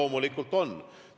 Loomulikult on.